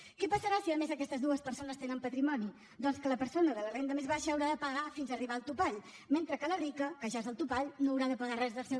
què passarà si a més aquestes dues persones tenen patrimoni doncs que la persona de la renda més baixa haurà de pagar fins a arribar al topall mentre que la rica que ja és al topall no haurà de pagar res del seu